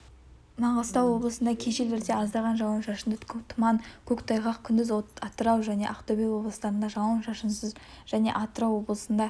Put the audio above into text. маңғыстау облысында кей жерлерде аздаған жауын-шашынды тұман көктайғақ күндіз атырау және ақтөбе облыстарында жауын-шашынсыз және атырау облысында